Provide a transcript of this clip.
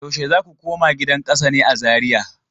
Yaushe za ku koma gidan kasa ne a Zariya?